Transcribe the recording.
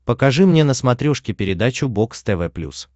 покажи мне на смотрешке передачу бокс тв плюс